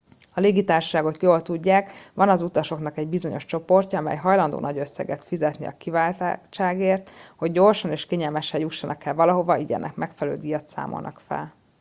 a légitársaságok jól tudják van az utasoknak egy bizonyos csoportja amely hajlandó nagy összegeket fizetni a kiváltságért hogy gyorsan és kényelmesen jussanak el valahova így ennek megfelelő díjat számolnak fel